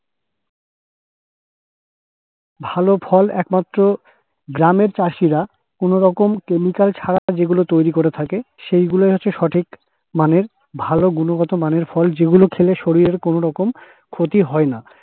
ভালো ফল একমাত্র গ্রামের চাষীরা কোনরকম chemical ছাড়া যেগুলো তৈরি করে থাকে সেইগুলোই হচ্ছে সঠিক মানের ভালো গুণগত মানের ফল যেগুলো খেলে শরীরের কোন রকম ক্ষতি হয়না।